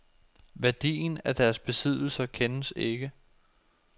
Værdien af deres besiddelser kendes ikke.